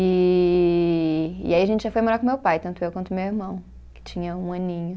E (prolongado) e aí a gente já foi morar com meu pai, tanto eu quanto meu irmão, que tinha um aninho.